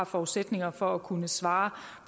forudsætninger for at kunne svare